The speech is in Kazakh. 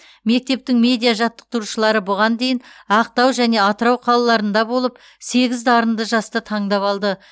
мектептің медиа жаттықтырушылары бұған дейін ақтау және атырау қалаларында болып сегіз дарынды жасты таңдап алды